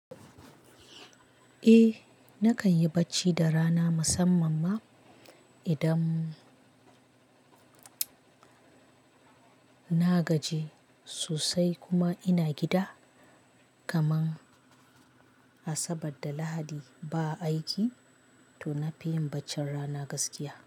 Eh nakan yi bacci da rana musamman ma idan na gaji sosai kuma ina gida. Kaman Asabar da Lahadi ba a aiki, to na fi yin bacci rana gaskiya.